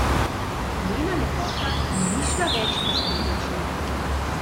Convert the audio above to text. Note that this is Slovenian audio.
Njena lepota mi ni šla več izpred oči.